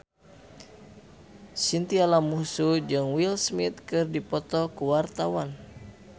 Chintya Lamusu jeung Will Smith keur dipoto ku wartawan